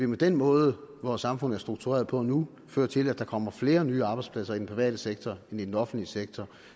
med den måde vores samfund er struktureret på nu føre til at der kommer flere nye arbejdspladser i den private sektor end i den offentlige sektor